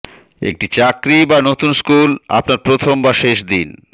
একটি চাকরি বা নতুন স্কুল আপনার প্রথম বা শেষ দিন